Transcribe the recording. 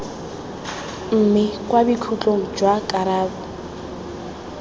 mme kwa bokhutlong jwa karabo